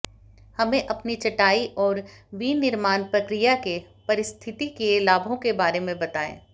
हमें अपनी चटाई और विनिर्माण प्रक्रिया के पारिस्थितिकीय लाभों के बारे में बताएं